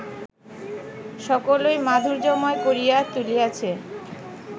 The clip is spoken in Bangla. সকলই মাধুর্যময় করিয়া তুলিয়াছে